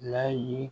N'a ye